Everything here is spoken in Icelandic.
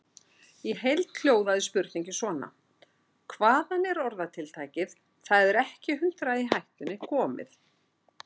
Í heild hljóðaði spurningin svona: Hvaðan er orðatiltækið Það er ekki hundrað í hættunni komið?